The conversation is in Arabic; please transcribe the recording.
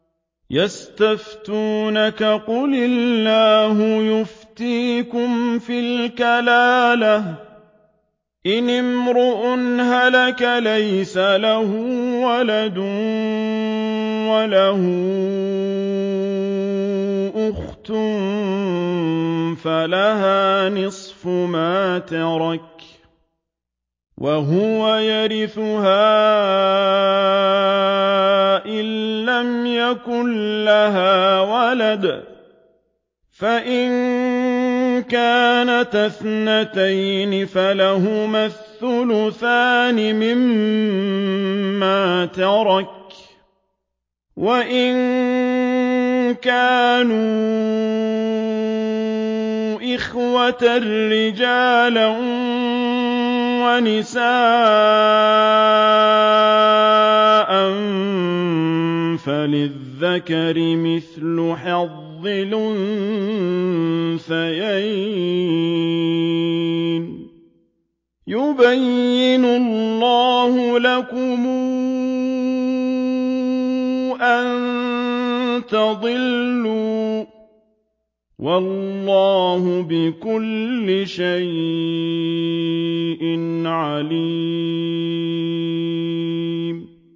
يَسْتَفْتُونَكَ قُلِ اللَّهُ يُفْتِيكُمْ فِي الْكَلَالَةِ ۚ إِنِ امْرُؤٌ هَلَكَ لَيْسَ لَهُ وَلَدٌ وَلَهُ أُخْتٌ فَلَهَا نِصْفُ مَا تَرَكَ ۚ وَهُوَ يَرِثُهَا إِن لَّمْ يَكُن لَّهَا وَلَدٌ ۚ فَإِن كَانَتَا اثْنَتَيْنِ فَلَهُمَا الثُّلُثَانِ مِمَّا تَرَكَ ۚ وَإِن كَانُوا إِخْوَةً رِّجَالًا وَنِسَاءً فَلِلذَّكَرِ مِثْلُ حَظِّ الْأُنثَيَيْنِ ۗ يُبَيِّنُ اللَّهُ لَكُمْ أَن تَضِلُّوا ۗ وَاللَّهُ بِكُلِّ شَيْءٍ عَلِيمٌ